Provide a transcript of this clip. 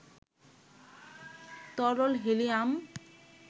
তরল হিলিয়াম